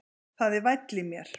Það er væll í mér.